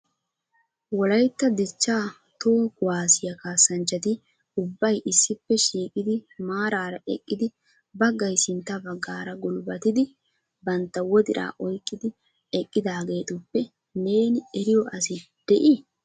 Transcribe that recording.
Wolaytta dichcha toho kuwaassiya kaassanchchati ubbay issippe shiiqidi maarara eqqidi baggay sintta baggaara gulbbatidi bantta wodiraa oyqqidi eqqiidaageetuppe neeni eriyo asi de'i?